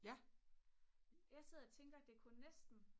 jeg sidder og tænker det kunne næsten